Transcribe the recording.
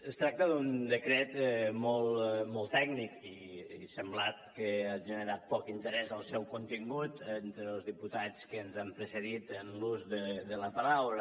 es tracta d’un decret molt tècnic i ha semblat que ha generat poc interès el seu contingut entre els diputats que ens han precedit en l’ús de la paraula